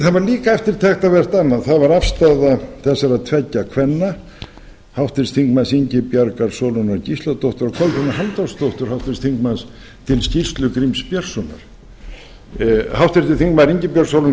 það var líka eftirtektarvert annað það var afstaða þessara tveggja kvenna háttvirtur þingmaður ingibjargar sólrúnar gísladóttur og kolbrúnar halldórsdóttur háttvirts þingmanns til skýrslu gríms björnssonar háttvirtur þingmaður